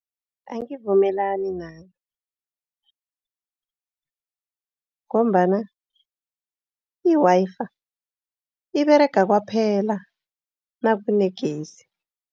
Angivumelani naye ngombana i-Wi-Fi iberega kwaphela nakunegezi.